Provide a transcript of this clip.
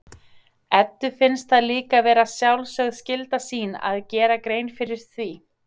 Eddu finnst það líka vera sjálfsögð skylda sín að gera grein fyrir því.